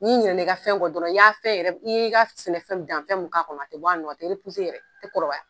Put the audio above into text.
N'i ɲɛna i ka fɛn kɔ dɔrɔn i y'a fɛn i y'i ka sɛnɛ fɛn dan fɛn mun k'a kɔnɔ tɛ bɔ a nɔ a tɛ yɛrɛ a tɛ kɔrɔbaya.